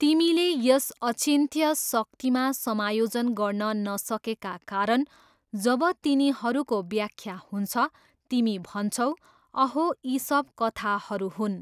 तिमीले यस अचिन्त्य शक्तिमा समायोजन गर्न नसकेका कारण, जब तिनीहरूको व्याख्या हुन्छ, तिमी भन्छौ, अहो, यी सब कथाहरू हुन्।